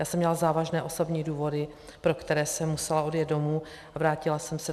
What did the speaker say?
Já jsem měla závažné osobní důvody, pro které jsem musela odjet domů, a vrátila jsem se.